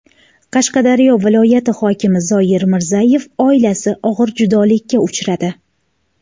Qashqadaryo viloyati hokimi Zoir Mirzayev oilasi og‘ir judolikka uchradi.